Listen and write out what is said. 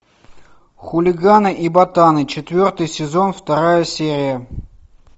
хулиганы и ботаны четвертый сезон вторая серия